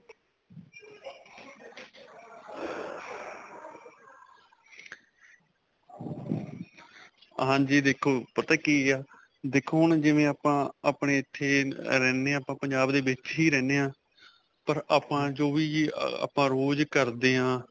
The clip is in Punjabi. ਹਾਂਜੀ. ਦੇਖੋ ਪਤਾ ਕੀ ਹੈ, ਦੇਖੋ ਹੁਣ ਜਿਵੇਂ ਆਪਾਂ, ਆਪਣੇ ਇੱਥੇ ਰਹਿਨੇ ਹਾਂ ਆਪਾਂ ਪੰਜਾਬ ਦੇ ਵਿੱਚ ਹੀ ਰਹਿਨੇ ਹਾਂ ਪਰ ਆਪਾਂ ਜੋ ਵੀ ਆਪਾ ਰੋਜ ਕਰਦੇ ਹਾਂ.